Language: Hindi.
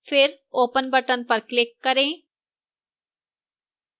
फिर open button पर click करें